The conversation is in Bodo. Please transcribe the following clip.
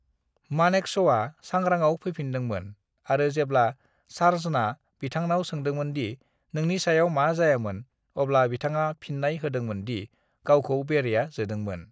मानेकश'आ सांग्रांआव फैफिनदोंमोन आरो जेब्ला सार्जना बिथांनाव सोंदोंमोन दि नोंनि सायाव मा जायामोन, अब्ला बिथांआ फिननाय होदोंमोन दि गावखौ बेरेआ जोदोंमोन।